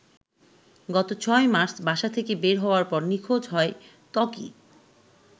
গত ৬ মার্চ বাসা থেকে বের হওয়ার পর নিখোঁজ হয় ত্বকি।